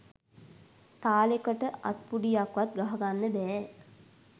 තාලෙකට අත්පුඩියක්වත් ගහගන්න බෑ